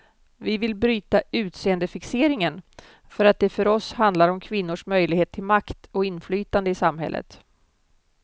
Vi vill bryta utseendefixeringen för att det för oss handlar om kvinnors möjlighet till makt och inflytande i samhället.